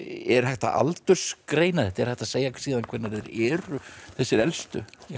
er hægt að aldursgreina þetta er hægt að segja síðan hvenær þeir eru þessir elstu